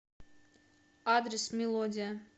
адрес мелодия